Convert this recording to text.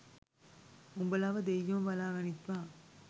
උඹලව දෙයියොම බලා ගනිත්වා